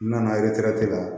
N nana la